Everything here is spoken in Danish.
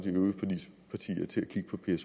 vi